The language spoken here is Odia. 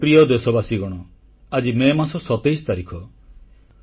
ମୋର ପ୍ରିୟ ଦେଶବାସୀଗଣ ଆଜି ମେ ମାସ 27 ତାରିଖ